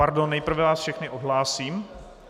Pardon, nejprve vás všechny odhlásím.